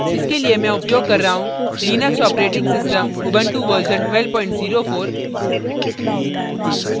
इसके लिए मैं उपयोग कर रहा हूँ Linux operating system Ubuntu version 1204